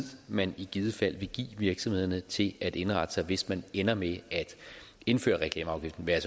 man i givet fald give virksomhederne til at indrette sig hvis man ender med at indføre reklameafgiften hvad